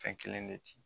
Fɛn kelen de ci